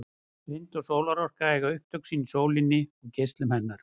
Vind- og sólarorka eiga upptök sín í sólinni og geislum hennar.